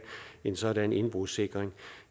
en sådan indbrudssikring